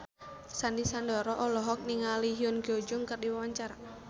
Sandy Sandoro olohok ningali Ko Hyun Jung keur diwawancara